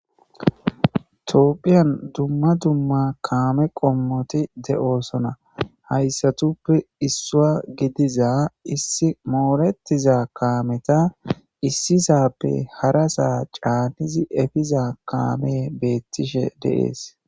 topphiyan dumma dumma kaame qommoti de'osona hayssatuppe issuwa gidiza issi mooretiza kaameta issisappe harasaa caanizi efiza kaame beettishe de'ees